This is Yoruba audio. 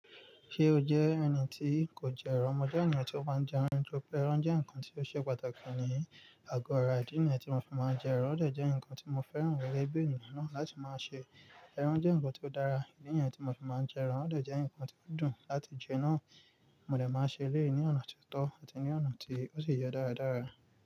Ṣé o jẹ́ ẹni tí kò jẹ ẹran? Mo jẹ́ ènìyàn tí ó máa ń jẹ ẹran nítorí pé ẹran jẹ́ nǹkan tí ó ṣe pàtàkì ní àgọ́ ara. Ìdí nìyẹn tí mo fi máa ń jẹ ẹran. Ó dẹ̀ jẹ́ nǹkan tí mo fẹ́ràn gẹ́gẹ́ bí ènìyàn náà láti máa ṣe. Ẹran jẹ́ nǹkan tí ó dára. Ìdí nìyẹn tí mo fi máa ń jẹ ẹran. Ó dẹ̀ jẹ́ nǹkan tí ó dùn láti jẹ náà. Mo dẹ̀ máa ń ṣe léè ní ọ̀nà tó tọ àti ní ọ̀nà tí ó sì yẹ dáradára.